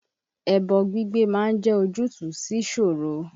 Ẹbọ gbígbé ma ń jẹ́ ojútùú síṣòro.